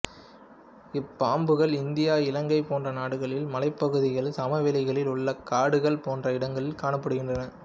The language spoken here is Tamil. இப்பாம்புகள் இந்தியா இலங்கை போன்ற நாடுகளில் மலைப்பகுதிகள் சமவெளிகளில் உள்ள காடுகள் போன்ற இடங்களில் காணப்படுகிறது